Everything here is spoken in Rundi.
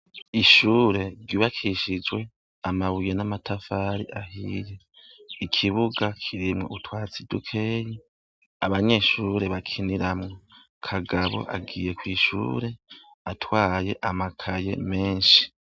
Ishure ryubakishijwe amabuye n' amatafari ahiye ikibuga kirimwo utwatsi dukeyi abanyeshure bakiniramwo Kagabo agiye kwishure atwaye amakaye menshi.